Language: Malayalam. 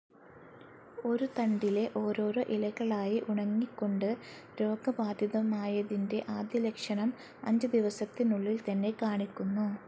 ഒരു തണ്ടിലെ ഓരോരോ ഇലകളായി ഉണങ്ങിക്കൊണ്ട്, രോഗബാധിതമായതിന്റെ ആദ്യ ലക്ഷണം, അഞ്ചുദിവസത്തിനുള്ളിൽ തന്നെ കാണിക്കുന്നു.